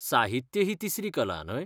साहित्य ही तिसरी कला, न्हय?